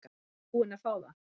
Ertu búin að fá það?